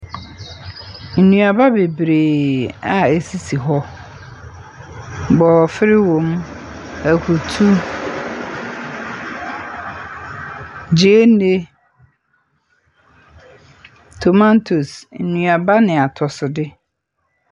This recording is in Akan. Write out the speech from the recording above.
Nnuaba bebree a ɛsisi hɔ, borɔfer wɔ mu, akutu, gyeene, tomatose, nnuaba ne atɔsode.